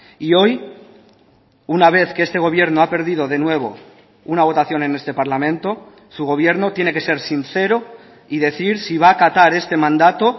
y hoy una vez que este gobierno ha perdido de nuevo una votación en este parlamento su gobierno tiene que ser sincero y decir si va acatar este mandato